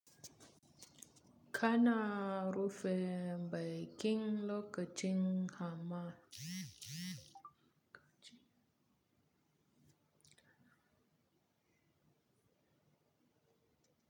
Kana rufe bai kin lokacin hamma.